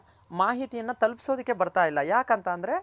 ಮಾಹಿತಿಯನ ತಲ್ಪ್ಸೋದಕ್ಕೆ ಬರ್ತಾ ಇಲ್ಲ ಯಾಕಂತ ಅಂದ್ರೆ